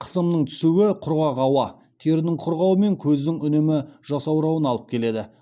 қысымның түсуі құрғақ ауа терінің құрғауы мен көздің үнемі жасаурауына алып келеді